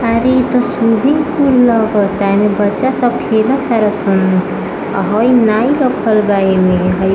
आरे इ तो स्विमिंग पूल लगत आनिबच्चा सब तो खेलत रहल स्विमिंग पूल मेंऔ नाई का पर्दा एमें है--